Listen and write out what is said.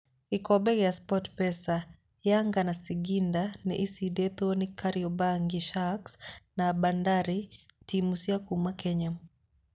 Gikombe gia Sportpesa:Yanga na singinda nĩ iciditwo ni kariobangi Sharks na bandari timu cia kuma Kenya.